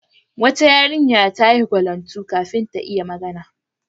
Wata yarinya ta yi gwalantu kafin ta iya magana.